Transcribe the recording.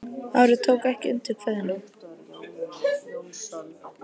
Ari tók ekki undir kveðjuna.